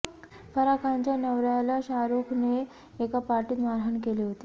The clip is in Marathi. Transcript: फराह खानच्या नवऱ्याला शाहरूखने एका पार्टीत मारहाण केली होती